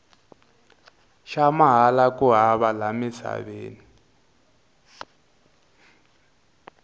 xa mahala ku hava la emisaveni